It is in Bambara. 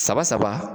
Saba saba